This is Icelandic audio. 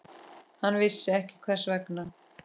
Hann vissi ekki hvers vegna.